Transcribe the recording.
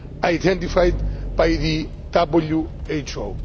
identified by the WHO.